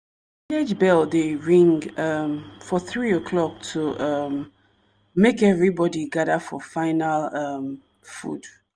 bell dey ring um for three o'clock to um make evrybody gather for final um food.